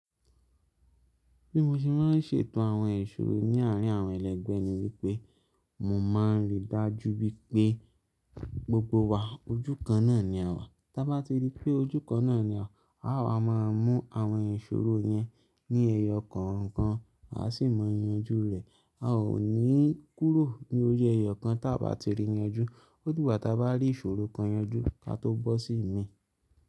Bí mo ṣe máa ń ṣètò àwọn ìṣòro ní àárín àwọn ẹlẹgbẹ́ ni wípé, mo máa ń rí i dájú wípé gbogbo wa ojú kan náà ni a wà. Tábá ti di pé ojú kan náà ni a wà, àwa máa mú àwọn ìṣòro yẹn ní ẹyọ kọ̀ọ̀kan, a sì máa yanjú rẹ̀. A ò ní kúrò ní ojú ẹyọ kan tá bá ti rí yanjú. Ó di gbà tá bá rí ìṣòro kan yanjú kí a tó bọ́ sí mi.